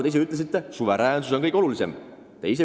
Te ise ütlesite, suveräänsus on kõige olulisem.